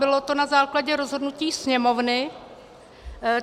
Bylo to na základě rozhodnutí Sněmovny.